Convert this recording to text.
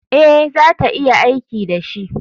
Ee, za ta iya aiki da shi.